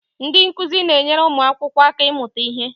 Ndị nkuzi na-enyere ụmụ akwụkwọ aka ịmụta ihe